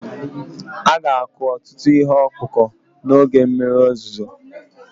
A ga-akụ ọtụtụ ihe ọkụkụ n'oge mmiri ozuzo